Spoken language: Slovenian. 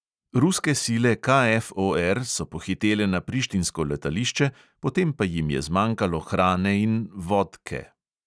Ruske sile KFOR so pohitele na prištinsko letališče, potem pa jim je zmanjkalo hrane in vod(k)e.